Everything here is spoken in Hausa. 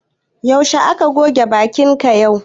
Zaushe ka goge bakin ka yau?